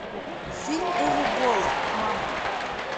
фильм уве болла мама